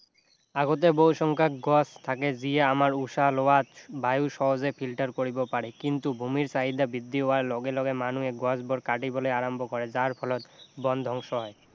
আগতে বহু সংখ্যক থাকে যিয়ে আমাৰ উশাহ লোৱাত বায়ু সহজে filter কৰিব পাৰে কিন্তু ভূমিৰ চাহিদা বৃদ্ধি হোৱাৰ লগে লগে গছবোৰ কটিবলে আৰম্ভ কৰে যাৰ ফলত বন ধ্বংস হয়